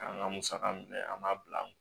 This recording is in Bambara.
K'an ka musaka minɛ an b'a bila an kun